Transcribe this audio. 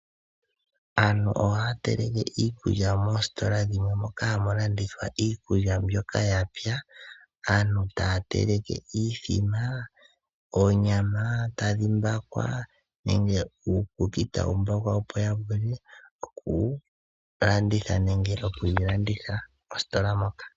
Aantu ohaya teleke iikulya moositola dhimwe moka hamu landithwa iikulya mbyoka ya pya. Aantu taya teleke iithima, oonyama tadhi mbakwa nenge uukuki tawu mbakwa opo ya vule oku yi landitha mositola moka .